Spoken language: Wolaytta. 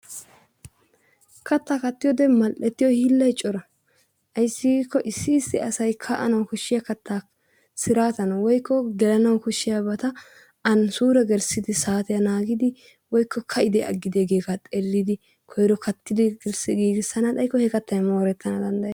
Kattaa kattiyode mall"ettiyo hiillayi cora. Ayssi giikko issi issi asayi ka"anawu koshahiya kattaa siraatan woykko gelanawu koshshiyabata an suure gelissidi saatiya naagidi woykko ka"idee aggidee giyogaa xeellidi koyro kattidi giigissana xaykko he kattayi mioorettana danddayes.